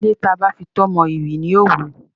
Ilé tí a bá fi itọ́ mọ, ìrì ni yóò wọ.